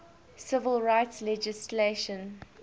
civil rights legislation